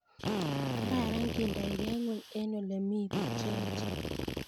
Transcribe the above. kararan kendoikee ngweny eng olemii biik che echeen